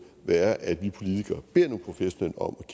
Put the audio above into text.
være at vi politikere beder nogle professionelle om